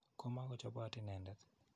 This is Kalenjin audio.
Ko makochopot inendet.